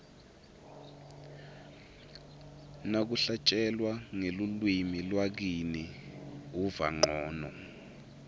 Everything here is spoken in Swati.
nakuhlatjelwa ngelulwimi lakini uva ncono